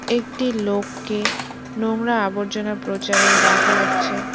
একটি লোককে নোংরা আবর্জনা প্রচারে দেখা যাচ্ছে।